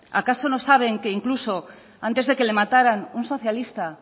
acaso no saben que incluso que antes de que le mataran un socialista